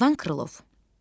İvan Krılov.